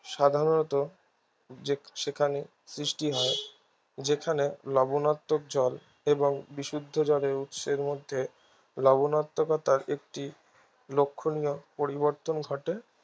সাধারণত যে সেখানে সৃষ্টি হয় যেখানে লবনাত্মক জল এবং বিশুদ্ধ জলের উৎসের মধ্যে লবনাত্মকতার একটি লক্ষণীয় পরিবর্তন ঘটে